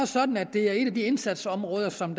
sådan at det er et af de indsatsområder som